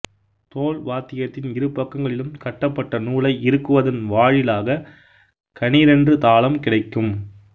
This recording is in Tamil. தோல் வாத்தியத்தின் இரு பக்கங்களிலும் கட்டபட்ட நூலை இருக்குவதன் வாழிலாக கணீரென்று தாளம் கிடைக்கும்